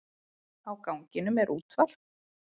Á ganginum er útvarp.